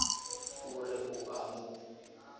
o re o a mo